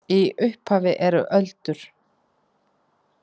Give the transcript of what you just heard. Í upphafi eru öldur.